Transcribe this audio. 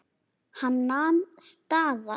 Hann nam staðar.